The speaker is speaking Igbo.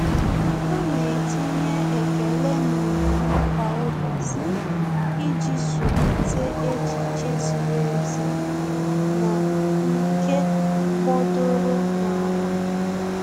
Há nà-etinye ekele n'omume kwa ụ́bọ̀chị̀ iji zụ́líté echiche ziri ezi na nke gbọ́dọ́rọ́ n’álá.